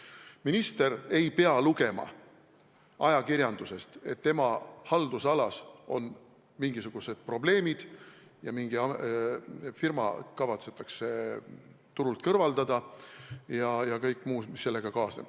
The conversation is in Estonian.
Minister ei pea lugema ajakirjandusest, et tema haldusalas on mingisugused probleemid, et mingi firma kavatsetakse turult kõrvaldada ja nii edasi kõik muu, mis sellega kaasneb.